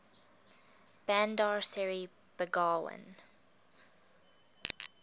bandar seri begawan